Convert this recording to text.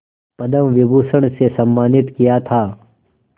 पद्म विभूषण से सम्मानित किया था